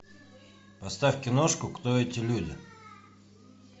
поставь киношку кто эти люди